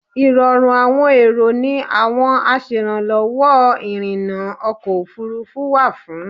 Ìrọ̀rùn àwọn èrò ni àwọn aṣèrànlọ́wọ́ ìrìnnà ọkọ̀ òfurufú wà fún.